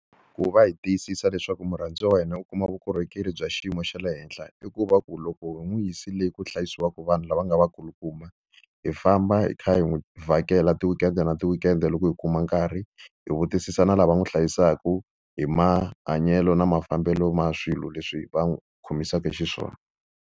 Ku va hi tiyisisa leswaku murhandziwa wa hina u kuma vukorhokeri bya xiyimo xa le henhla, i ku va ku loko hi n'wi yisile le ku hlayisiwaka vanhu lava nga va kulukumba, hi famba hi kha hi n'wi vhakela ti-weekend-e na ti-weekend-e loko hi kuma nkarhi. Hi vutisisa na lava n'wi hlayisaka hi mahanyelo na mafambelo ma swilo leswi va n'wi khomisaka xiswona.